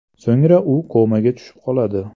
So‘ngra u komaga tushib qoladi.